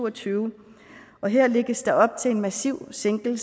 og tyve og her lægges der op til en massiv sænkning